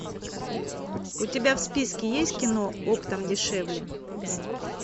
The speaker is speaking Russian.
у тебя в списке есть кино оптом дешевле